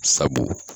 Sabu